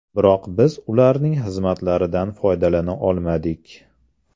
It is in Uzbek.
Biroq biz ularning xizmatlaridan foydalana olmadik.